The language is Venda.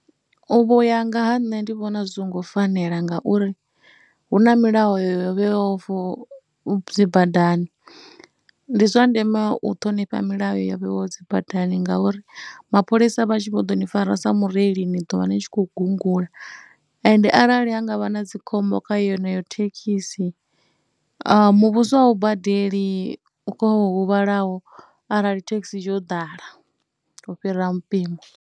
U vho ya nga ha nṋe ndi vhona zwi songo fanela ngauri hu na milayo yo vhewaho for dzi badani. Ndi zwa ndeme u ṱhonifha milayo ya vhewaho dzi badani ngauri mapholisa vha tshi vho ḓo ni fara sa mureili ni ḓo vha ni tshi khou gungula. Ende arali ha nga vha na dzi khombo kha yeneyo thekhisi muvhuso a u badeli kha wo huvhalaho arali thekhisi tsho ḓala u fhira mmpimo.